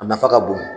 A nafa ka bon